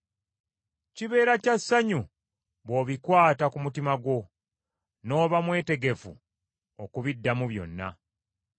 Kibeera kya ssanyu bw’obikwata ku mutima gwo, n’oba mwetegefu okubiddamu byonna.